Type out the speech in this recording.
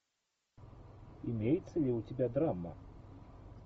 имеется ли у тебя драма